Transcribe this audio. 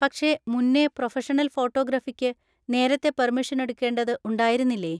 പക്ഷെ മുന്നേ പ്രൊഫെഷണൽ ഫോട്ടോഗ്രാഫിക്ക് നേരത്തെ പെർമിഷൻ എടുക്കേണ്ടത് ഉണ്ടായിരുന്നില്ലേ?